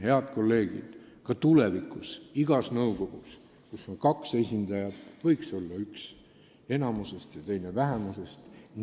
Head kolleegid, ka tulevikus võiks igas nõukogus, kus on kaks esindajat, olla üks enamuse ja teine vähemuse esindaja.